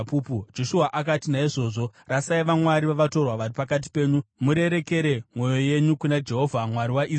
Joshua akati, “Naizvozvo rasai vamwari vavatorwa vari pakati penyu murerekere mwoyo yenyu kuna Jehovha Mwari waIsraeri.”